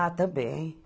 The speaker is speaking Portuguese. Ah, também.